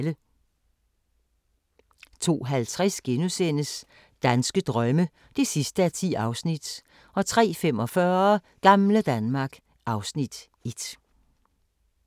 02:50: Danske drømme (10:10)* 03:45: Gamle Danmark (Afs. 1)